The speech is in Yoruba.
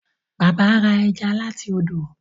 Bàbá rà ẹja láti ọdọ.